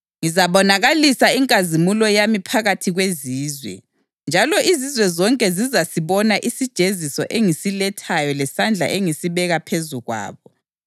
“Ngizabonakalisa inkazimulo yami phakathi kwezizwe, njalo izizwe zonke zizasibona isijeziso engisilethayo lesandla engisibeka phezu kwabo.